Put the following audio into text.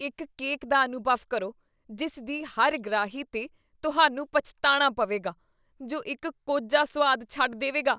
ਇੱਕ ਕੇਕ ਦਾ ਅਨੁਭਵ ਕਰੋ ਜਿਸ ਦੀ ਹਰ ਗ੍ਰਾਹੀ 'ਤੇ ਤੁਹਾਨੂੰ ਪਛਤਾਣਾ ਪਵੇਗਾ, ਜੋ ਇੱਕ ਕੋਝਾ ਸੁਆਦ ਛੱਡ ਦੇਵੇਗਾ